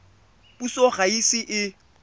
puso ga e ise e